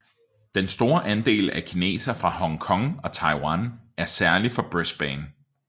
Den store andel af kinesere fra Hong Kong og Taiwan er særlig for Brisbane